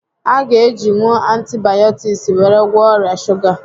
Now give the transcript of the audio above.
A gá e jinwu antibayọtiks were gwọọ ọrià shuga